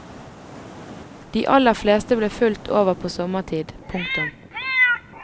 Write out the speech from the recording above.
De aller fleste ble fulgt over på sommertid. punktum